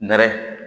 Nɛrɛ